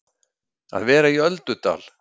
Að vera í öldudal